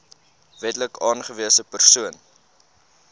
wetlik aangewese persoon